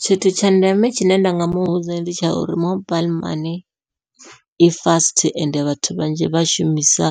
Tshithu tsha ndeme tshine nda nga muvhudza ndi tsha uri mobaiḽi mani i fast ende vhathu vhanzhi vha shumisa